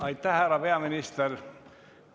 Aitäh, härra peaminister!